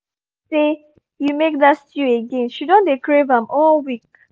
my mama talk say you make that stew again — she don dey crave am all week